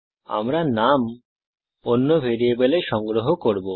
আমরা নাম অন্য ভ্যারিয়েবলে সংগ্রহ করব